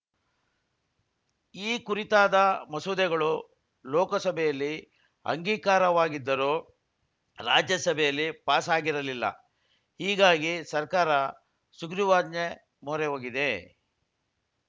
ಈ ಕುರಿತಾದ ಮಸೂದೆಗಳು ಲೋಕಸಭೆಯಲ್ಲಿ ಅಂಗೀಕಾರವಾಗಿದ್ದರೂ ರಾಜ್ಯಸಭೆಯಲ್ಲಿ ಪಾಸ್‌ ಆಗಿರಲಿಲ್ಲ ಹೀಗಾಗಿ ಸರ್ಕಾರ ಸುಗ್ರೀವಾಜ್ಞೆ ಮೊರೆ ಹೋಗಿದೆ